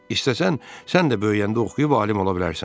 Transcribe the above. İstəsən, sən də böyüyəndə oxuyub alim ola bilərsən.